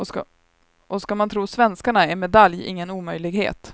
Och ska man tro svenskarna är medalj ingen omöjlighet.